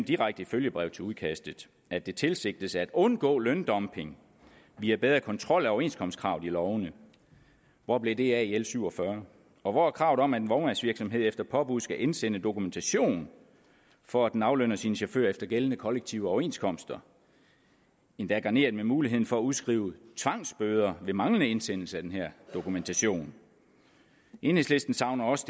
direkte i følgebrevet til udkastet at det tilsigtes at undgå løndumping via bedre kontrol af overenskomstkravet i lovene hvor blev det af i l 47 og hvor er kravet om at en vognmandsvirksomhed efter påbud skal indsende dokumentation for at den aflønner sine chauffører efter gældende kollektive overenskomster endda garneret med muligheden for at udskrive tvangsbøder ved manglende indsendelse af denne dokumentation enhedslisten savner også